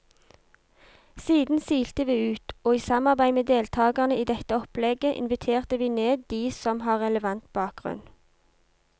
Siden silte vi ut, og i samarbeid med deltagerne i dette opplegget inviterte vi ned de som har relevant bakgrunn.